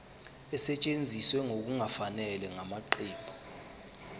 esetshenziswe ngokungafanele ngamaqembu